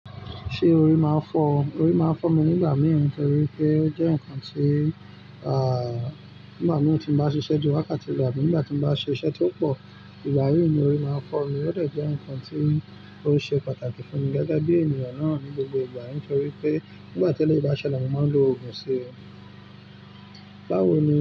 Ṣé orí máa ń fọ́ ọ? Orí máa ń fọ́ mi nígbà mìí nítorí pé ó jẹ́ nǹkan tí, à, nígbà mìí tí mo bá ṣiṣẹ́ ní wákàtí rọ̀ àbí nígbà tí mo bá ṣe iṣẹ́ tí ó pọ̀, ìgba mi ní orí máa ń fọ́ mi, ó dàjẹ́ nǹkan tí ó ṣe pàtàkì fún mi gẹ́gẹ́ bí ènìyàn náà ní gbogbo ìgbà, nítorí pé nígbà tí eleyìí bá ṣẹlẹ̀, mo máa ń lo òògùn sí i. Báwo ni?